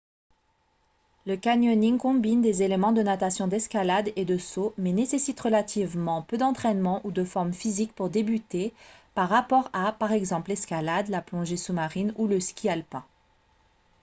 le canyoning combine des éléments de natation d'escalade et de saut mais nécessite relativement peu d'entraînement ou de forme physique pour débuter par rapport à par exemple l'escalade la plongée sous-marine ou le ski alpin